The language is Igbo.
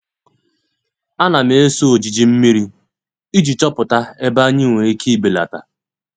A na m eso ojiji mmiri iji chọpụta ebe anyị nwere ike ibelata.